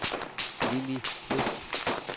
Lilli Kvist